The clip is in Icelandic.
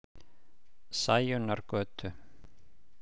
Sæunnargötu